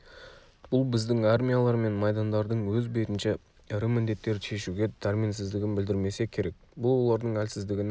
бұл біздің армиялар мен майдандардың өз бетінше ірі міндеттерді шешуге дәрменсіздігін білдірмесе керек бұл олардың әлсіздігінің